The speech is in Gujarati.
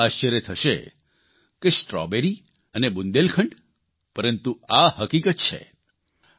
સૌ કોઇને આશ્ચર્ય થશે કે સ્ટ્રોબેરી અને બુંદેલખંડ પરંતુ આ હકીકત છે